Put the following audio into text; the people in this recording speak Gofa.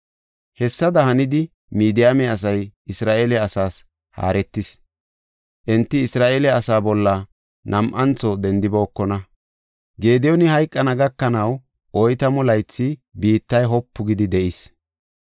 Hessada hanidi, Midiyaame asay Isra7eele asaas haaretis; enti Isra7eele asaa bolla nam7antho dendibookona. Gediyooni hayqana gakanaw oytamu laythi biittay wopu gidi de7is.